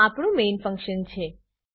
આ આપણું main function છે